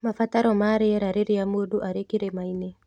Mabataro ma rĩera rĩria mũndũ arĩ kĩrĩma-inĩ